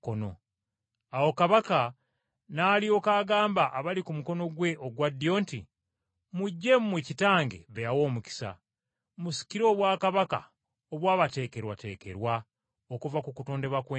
“Awo Kabaka n’alyoka agamba abali ku mukono gwe ogwa ddyo nti, ‘Mujje mmwe Kitange be yawa omukisa, musikire obwakabaka obwabateekerwateekerwa okuva ku kutondebwa kw’ensi.